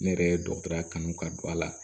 Ne yɛrɛ ye dɔgɔtɔrɔya kanu ka don a la